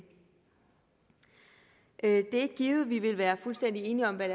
er ikke givet at vi vil være fuldstændig enige om hvad